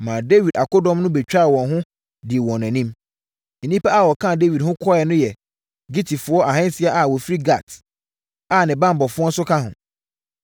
maa Dawid akodɔm no bɛtwaa wɔn ho dii wɔn anim. Nnipa a wɔkaa Dawid ho kɔeɛ no yɛ Gitifoɔ ahansia a wɔfiri Gat a ne banbɔfoɔ nso ka ho.